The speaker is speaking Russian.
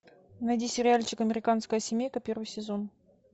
найди сериальчик американская семейка первый сезон